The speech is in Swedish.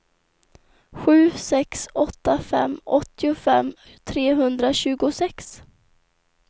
sju sex åtta fem åttiofem trehundratjugosex